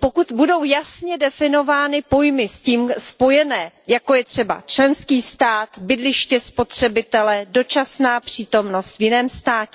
pokud budou jasně definovány pojmy s tím spojené, jako je třeba členský stát, bydliště spotřebitele, dočasná přítomnost v jiném státě.